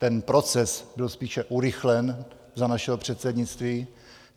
Ten proces byl spíše urychlen za našeho předsednictví.